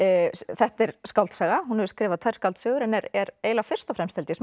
þetta er skáldsaga hún hefur skrifað tvær skáldsögur en er er eiginlega fyrst og fremst held ég